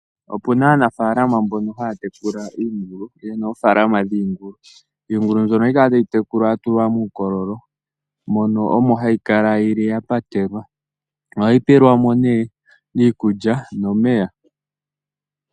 Opuna aanafalama mbono haya tekula iingulu, yena ofaalama dhingulu, iingulu mbyono ohayi kala tayi tekulwa yatulwa mukololo mono omo hayikala yili yapatelwa , ohayi pelwamo ne iikulya nomeya.